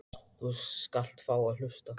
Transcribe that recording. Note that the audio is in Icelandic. Og þú skalt fá að hlusta.